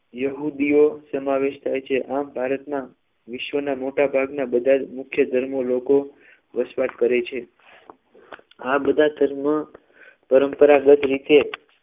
યહૂદીઓ સમાવેશ થાય છે આમ ભારતના વિશ્વના મોટાભાગના બધા જ મુખ્ય ધર્મો લોકો વસવાટ કરે છે આ બધા ધર્મ પરંપરાગત રીતે